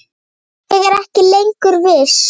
Ég er ekki lengur viss.